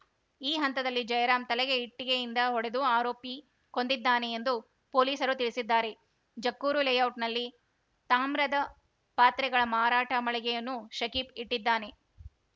ಈ ಹಂತದಲ್ಲಿ ಜಯರಾಂ ತಲೆಗೆ ಇಟ್ಟಿಗೆಯಿಂದ ಹೊಡೆದು ಆರೋಪಿ ಕೊಂದಿದ್ದಾನೆ ಎಂದು ಪೊಲೀಸರು ತಿಳಿಸಿದ್ದಾರೆ ಜಕ್ಕೂರು ಲೇಔಟ್‌ನಲ್ಲಿ ತಾಮ್ರದ ಪಾತ್ರೆಗಳ ಮಾರಾಟ ಮಳಿಗೆಯನ್ನು ಶಕೀಬ್‌ ಇಟ್ಟಿದ್ದಾನೆ